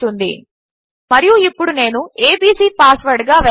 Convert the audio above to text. అని వస్తుంది మరియు ఇప్పుడు నేను ఏబీసీ పాస్వర్డ్గా వేస్తాను మరియు యూరే ఇన్